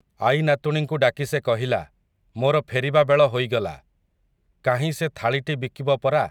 ଆଈନାତୁଣୀଙ୍କୁ ଡାକି ସେ କହିଲା, ମୋର ଫେରିବାବେଳ ହୋଇଗଲା, କାହିଁ ସେ ଥାଳିଟି ବିକିବ ପରା ।